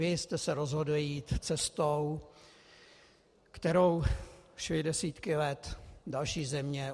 Vy jste se rozhodli jí cestou, kterou šly desítky let další země.